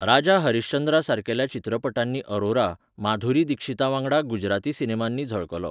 राजा हरिश्चंद्रा सारकेल्या चित्रपटांनी अरोरा, माधुरी दिक्षीतावांगडा गुजराती सिनेमांनी झळकलो.